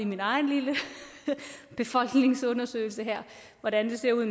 min egen lille befolkningsundersøgelse her af hvordan det ser ud